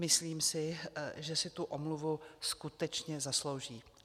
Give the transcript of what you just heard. Myslím si, že si tu omluvu skutečně zaslouží.